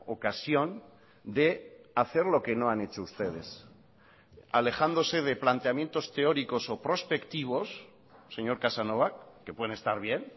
ocasión de hacer lo que no han hecho ustedes alejándose de planteamientos teóricos o prospectivos señor casanova que pueden estar bien